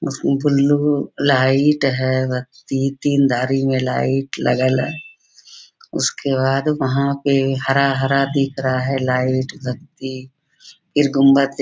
उसमें blue light है। बत्ती तीन धरी में लाइट लगल है। उसके बाद वहाँ पे हरा-हरा दिख रहा है लाइट बत्ती फिर गुम्बद --